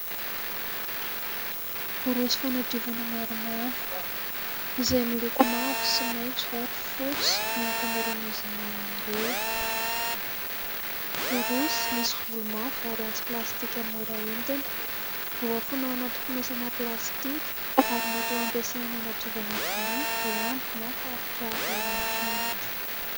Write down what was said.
Borosy fanadiovana maromaro izay miloko mavo sy maitso ary fotsy ny ankamaroan'izy ireo. Borosy misy volo mafy ary antsy plastika mora entina voafono ao anaty fonosana plastika ary mety ho ampiasaina hanadiovana vilia, lamba na faritra hafa ao an-trano.